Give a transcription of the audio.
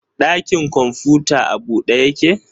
Ɗakin kwamfuta a bude yake?